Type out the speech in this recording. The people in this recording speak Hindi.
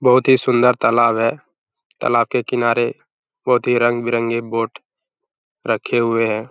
बहुत ही सुंदर तालाब है। तालाब के किनारे बहुत ही रंग-बिरंगे बोट रखे हुए हैं।